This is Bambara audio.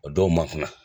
O dɔw ma kunna